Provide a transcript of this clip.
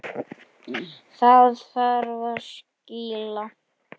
Þá þarf að skýla.